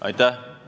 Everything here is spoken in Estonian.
Aitäh!